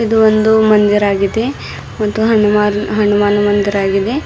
ಇದು ಒಂದು ಮಂದಿರ ಆಗಿದೆ ಮತ್ತು ಹನುಮ ಹನುಮಾನ ಮಂದಿರವಾಗಿದೆ.